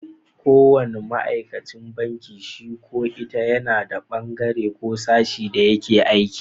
Ko wanna ma'aikacin banki shi ko ita yana da bangaren ko sashin da yake aiki.